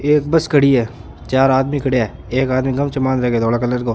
एक बस खड़ी है चार आदमी खड़या है एक आदमी गमछाे बान्द राख्यो है धोला कलर को।